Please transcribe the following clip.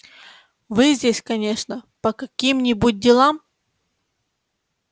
вы здесь конечно по каким-нибудь делам